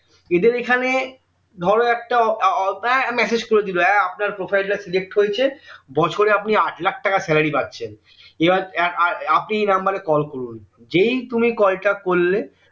এদের এখানে ধরো একটা উহ আহ message করে দিলো এর আপনার profile টা delete হয়েছে বছরে আপনি আটলাখ টাকা salary পাচ্ছেন এবার আহ এর আপনি এই নাম্বারে কল করুন যেই তুমি কল টা করলে